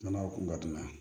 N'a kun ka danaya ye